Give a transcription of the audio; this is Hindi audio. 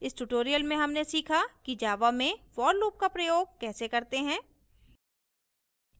इस tutorial में हमने सीखा कि java में for loop का प्रयोग कैसे करते हैं